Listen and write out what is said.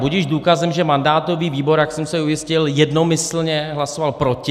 Budiž důkazem, že mandátový výbor, jak jsem se ujistil, jednomyslně hlasoval proti.